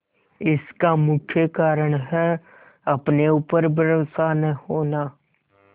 इसका मुख्य कारण है अपने ऊपर भरोसा न होना